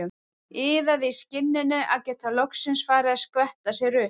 Iðaði í skinninu að geta loksins farið að skvetta sér upp.